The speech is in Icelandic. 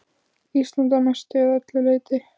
Ísland að mestu eða öllu leyti.